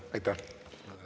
Aitäh!